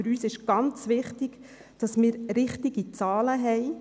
Für uns ist ganz wichtig, dass wir richtige Zahlen haben.